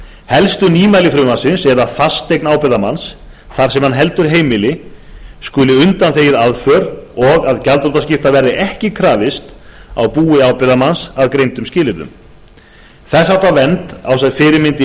helstu nýmæli frumvarpsins eru að fasteign ábyrgðarmanns þar sem hann heldur heimili skuli undanþegið aðför og að gjaldþrotaskipta verði ekki krafist á búi ábyrgðarmanns að greindum skilyrðum þess háttar vernd á sér fyrirmynd í